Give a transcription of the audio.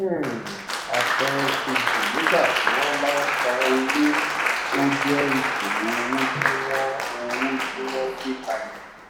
um àpẹẹrẹ kejì nígbà tí wón bá san owó ó jẹ ètò owó tí wọn owó tí wọn gbé kalẹ